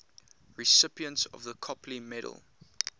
recipients of the copley medal